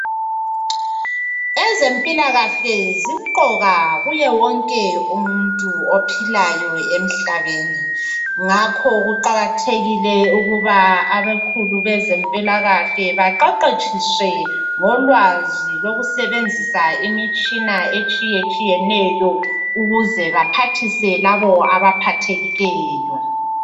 Ezempilakahle zimqoka kuye wonke umuntu ophilayo emhlabeni ngakho kuqakathekile ukuba abakhulu bezempilakahle baqeqetshiswe ngolwazi lokusebenzisa imitshina etshiyetshiyeneyo ukuze baphathise labo abaphathekileyo